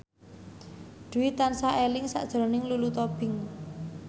Dwi tansah eling sakjroning Lulu Tobing